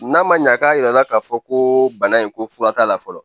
N'a man ɲa k'a yirala k'a fɔ ko bana in ko fura t'a la fɔlɔ.